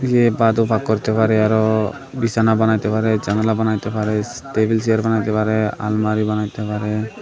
এ করতে পারে আরো বিছানা বানাইতে পারে জানালা বানাইতে পারে সি টেবিল চেয়ার বানাইতে পারে আলমারি বানাইতে পারে।